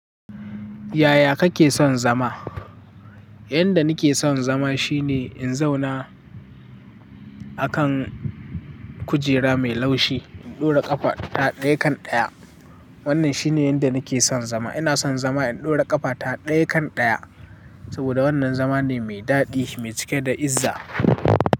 Yaya kake son zama? Inda nake son zama shine in zauna a kan kujera mai laushi, in ɗora ƙafa ta ɗaya kan ɗaya. Wannan shine inda nake son zama. Ina son zama in ɗora ƙafa ta ɗaya kan ɗaya. Saboda wannan zama ne mai daɗi mai cike da izza.